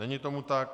Není tomu tak.